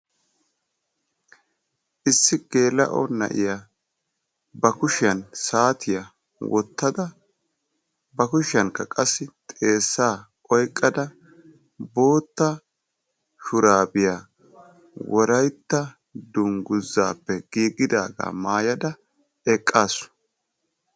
Issi geela'o na'iyaa ba kushshiyaan saatiyaa wottada ba kushshiyankka qassi xeessaa oyqqada bootta shuraabiyaa wolaytta dunguzaappe giigidagaa maayada eqqaasu.